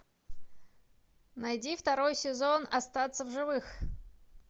найди второй сезон остаться в живых